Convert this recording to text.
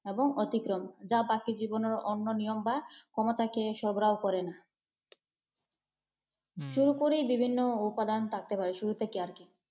এবং অতিক্রম যা বাকি জীবনের অন্য নিয়ম বা কোনটাকে সগ্রাহ করে না। শুরু করি বিভিন্ন উপাদান থাকতে পারে, শুরু থেকে আর কি।